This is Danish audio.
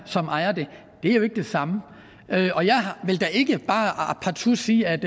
som ejer det er jo ikke det samme og jeg vil da ikke bare partout sige at